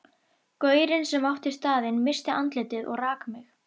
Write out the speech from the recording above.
Gaurinn sem átti staðinn missti andlitið og rak mig.